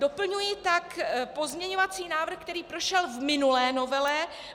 Doplňuji tak pozměňovací návrh, který prošel v minulé novele.